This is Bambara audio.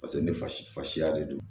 Paseke ne fasiya de don